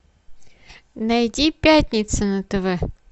найди пятница на тв